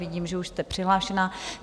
Vidím, že už jste přihlášená.